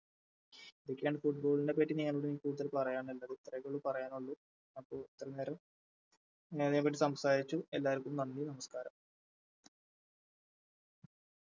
ഇതൊക്കെയാണ് Football നെ പറ്റി നിങ്ങളോട് കൂടുതൽ പറയാനുള്ളത് ഇത്രൊക്കെയുള്ളൂ പറയാനുള്ളു അപ്പോൾ ഇത്രേം നേരം ഞാനിതിനെപ്പറ്റി സംസാരിച്ചു എല്ലാവർക്കും നന്ദി നമസ്ക്കാരം